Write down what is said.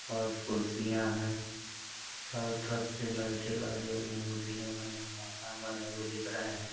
पांच कुर्सियां है। चारो तरफ से लाइटें लाइट जल रही हैं। बिल्डिंगे बानी हुई है। मकान बने हुए दिख रहे है।